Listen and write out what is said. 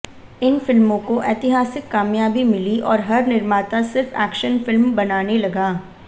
इन फिल्मों को ऐतिहासिक कामयाबी मिली और हर निर्माता सिर्फ एक्शन फिल्म बनाने लगा